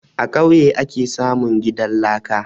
A kauye ake samun gidan laka